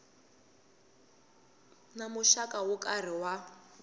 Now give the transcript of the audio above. na muxaka wo karhi wa